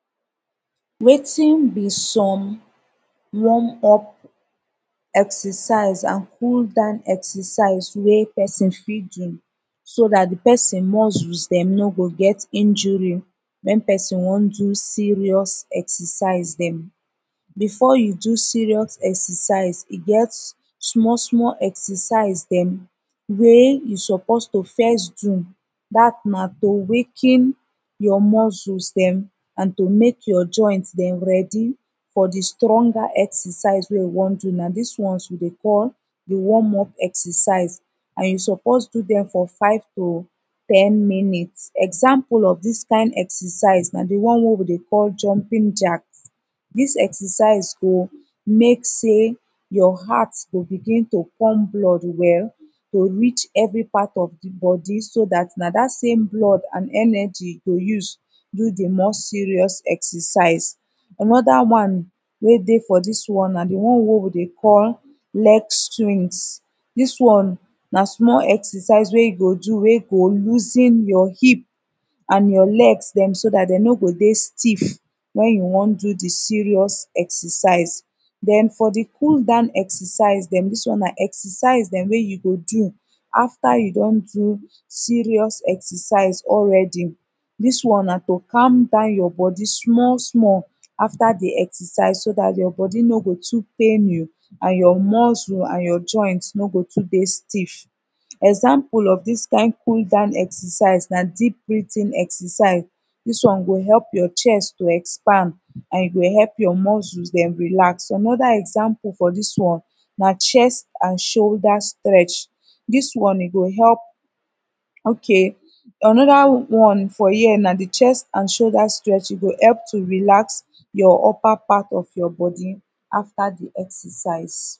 wetin bi som warm up exercise an cool down exercise wey pesin fit do so dat de pesin muscles dem no go get injury wen pesin wan do serious exercise dem befor you do serious exercise e get e get smal smal exercise dem wey you suppose to fess do dat na to waken yur muscles dem to mek your joints dem ready fo de stronger exercise wey you wan do na dis ones wi de call de warm up exercise you suppose do dem fo 5 to ten minutes example of dis kin exercise na de one wey dem dey call jumping jack dis exercise go mek sey your heart go begin to pump blood wel wel to reach evri pat of de bodi so dat na dat same blood an energy go use do de more serious exercise anoda one wey dey fo dis one na de one wey wi de call leg strings dis one na smal exercise wey you go do wey go loosen yur hip an yur legs dem so dat dem no go dey stiff wen you wan do de serious exercise den fo de cool down exercise dem dis one na exercise dem wey you go do afta you don do serious exercise alreadi dis one na to calm down yur bodi smal smal afta de exercise so dat yur bodi no go too pain you an your muscle an your joints no go too dey stiff example of all dis kin cool down exercise na deep breathing exercise dis one go help your chest to expand an e go help your muscles dem relax, anoda example fo dis one na chest an shoulder stretch dis one e go help okay anoda one fo here na de chest an shoulder stretch e go help to relax your up upper part of your body afta de exercise